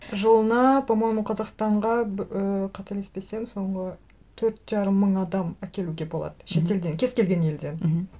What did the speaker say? жылына по моему қазақстанға ыыы қателеспесем соңғы төрт жарым мың адам әкелуге болады шетелден кез келген елден мхм